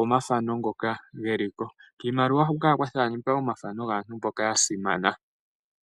omafano ngoka geliko nayilwe. Unene kiimaliwa huka ohaku kala kwathanekwa aantu mboka yasimana ngaashi ongele yadhana onkandangala mekondjelomanguluko lyoshilongo shawo.